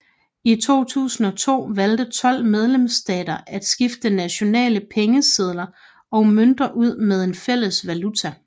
I 2002 valgte 12 medlemsstater at skifte nationale pengesedler og mønter ud med en fælles valuta